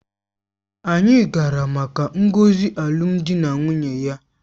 Anyị gara maka ngọzi alụmdi na nwunye ya